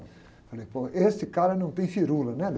Falei, pô, esse cara não tem firula, né? Meu.